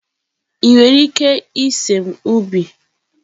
Ị nwere ike ịse m ubi?